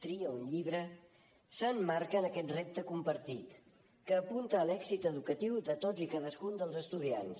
tria un llibre s’emmarca en aquest repte compartit que apunta a l’èxit educatiu de tots i cadascun dels estudiants